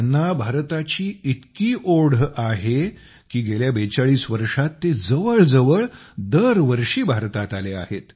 त्यांना भारताची इतकी ओढ आहे की गेल्या 42 बेचाळीस वर्षांत ते जवळजवळ दरवर्षी भारतात आले आहेत